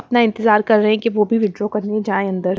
इतना इंतजार कर रहे हैं कि वो भी विथड्रॉ करने जाए अंदर--